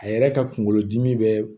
A yɛrɛ ka kungolo dimi bɛ